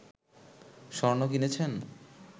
স্বর্ণ কিনেছেন